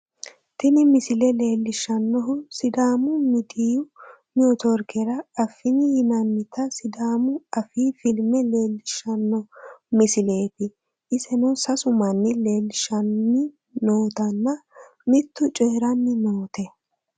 tini misile leellishshnnohu sidaamu miidiyu netiworkera affini yinannita sidaamu afii filme leellishshanno misileeti iseno sasu manni leellishshanni nootanna mittu coyeeranni noote